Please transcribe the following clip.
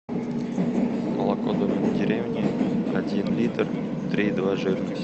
молоко домик в деревне один литр три и два жирность